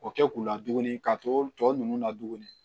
O kɛ k'u la tuguni ka to tɔ ninnu na tuguni